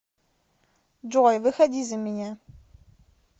джой выходи за меня